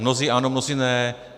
Mnozí ano, mnozí ne.